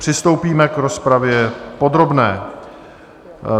Přistoupíme k rozpravě podrobné.